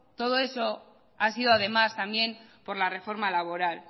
todo eso ha sido además también por la reforma laboral